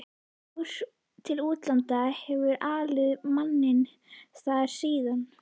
Fór til útlanda, hefur alið manninn þar síðan.